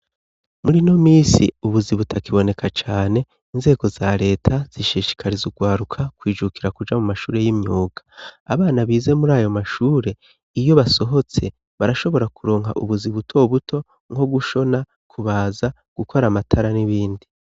Murino minsi ubuzi butakiboneka cane inzego za reta zishishikariza urwaruka kwijukira kuja mu mashuri y'imyuga, abana bize murayo mashure iyo basohotse barashobora kuronka ubuzi buto buto nko gushona, kubaza gukora amatara n'ibindi.